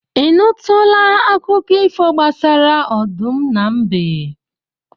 Ị nụtụla akụkọ ifo gbasara ọdụm na mbe?